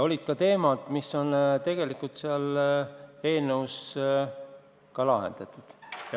Olid ka teemad, mis on tegelikult eelnõus lahendatud.